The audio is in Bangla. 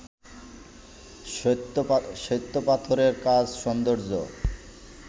শ্বেতপাথরের কাজ সৌন্দর্য